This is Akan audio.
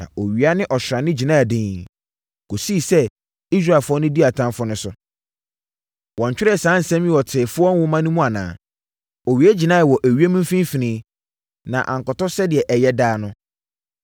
Na owia ne ɔsrane gyinaa dinn, kɔsii sɛ Israelfoɔ dii atamfoɔ no so. Wɔntwerɛɛ saa nsɛm yi wɔ Teefoɔ Nwoma no mu anaa? Owia gyinaeɛ wɔ ewiem mfimfini na ankɔtɔ sɛdeɛ ɛyɛ daa no.